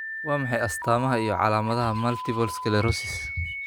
Waa maxay astaamaha iyo calaamadaha Multiple sclerosis?